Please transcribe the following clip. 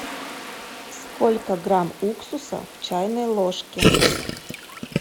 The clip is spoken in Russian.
сколько грамм уксуса в чайной ложке